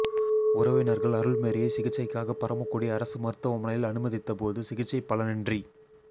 உறவினர்கள் அருள்மேரியை சிகிச்சைக்காக பரமக்குடி அரசு மருத்துவமனையில் அனுமதித்த போது சிகிச்சை பலனின்றி